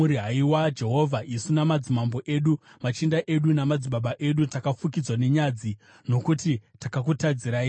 Haiwa Jehovha, isu namadzimambo edu, machinda edu namadzibaba edu takafukidzwa nenyadzi nokuti takakutadzirai.